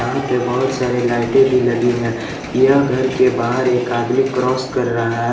यहां पे बहुत सारे लाइटें भी लगी हैं यह घर के बाहर एक आदमी क्रॉस कर रहा है।